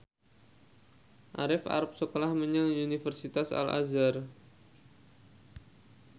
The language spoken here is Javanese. Arif arep sekolah menyang Universitas Al Azhar